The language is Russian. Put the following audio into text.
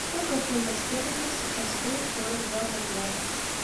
сколько фунтов стерлингов сейчас стоит сорок два боливар